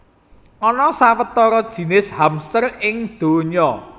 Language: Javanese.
Ana sawetara jinis hamster ing donya